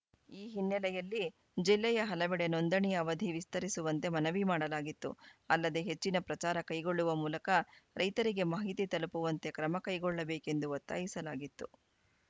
ಈ ಹಿನ್ನೆಲೆಯಲ್ಲಿ ಜಿಲ್ಲೆಯ ಹಲವೆಡೆ ನೋಂದಣಿ ಅವಧಿ ವಿಸ್ತರಿಸುವಂತೆ ಮನವಿ ಮಾಡಲಾಗಿತ್ತು ಅಲ್ಲದೆ ಹೆಚ್ಚಿನ ಪ್ರಚಾರ ಕೈಗೊಳ್ಳುವ ಮೂಲಕ ರೈತರಿಗೆ ಮಾಹಿತಿ ತಲುಪುವಂತೆ ಕ್ರಮ ಕೈಗೊಳ್ಳಬೇಕೆಂದು ಒತ್ತಾಯಿಸಲಾಗಿತ್ತು